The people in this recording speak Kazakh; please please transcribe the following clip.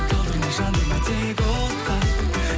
талдырма жандырма тек отқа